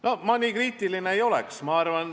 No ma nii kriitiline ei oleks.